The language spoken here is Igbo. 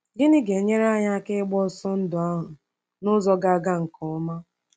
Gịnị ga-enyere anyị aka ịgba ọsọ ndụ ahụ n’ụzọ ga-aga nke ọma?